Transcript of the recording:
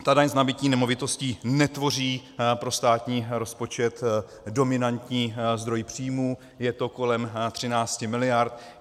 Ta daň z nabytí nemovitosti netvoří pro státní rozpočet dominantní zdroj příjmů, je to kolem 13 miliard.